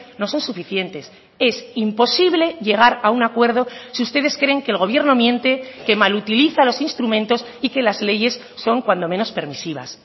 no son suficientes es imposible llegar a un acuerdo si ustedes creen que el gobierno miente que mal utiliza los instrumentos y que las leyes son cuando menos permisivas